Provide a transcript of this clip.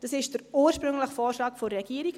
Das ist der ursprüngliche Vorschlag der Regierung.